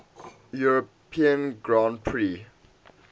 european grand prix